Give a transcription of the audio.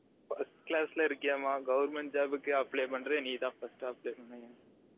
first class ல இருகியாமா government job க்கு apply பன்ரது நீ தான் first apply பன்னுவியாம்